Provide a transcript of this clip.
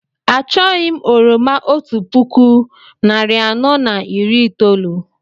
Achọghị m oroma otú puku narị anọ na iri itoolu